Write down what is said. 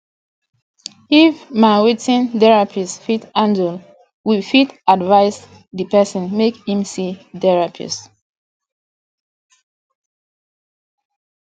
if ma wetin therapist fit handle we fit advice di person make im see therapist